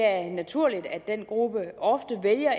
er naturligt at den gruppe ofte vælger